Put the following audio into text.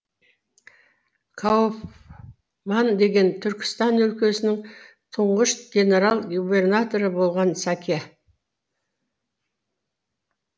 кауфман деген түркістан өлкесінің тұңғыш генерал губернаторы болған сәке